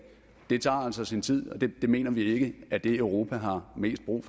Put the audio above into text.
det tager altså sin tid og det mener vi ikke er det europa har mest brug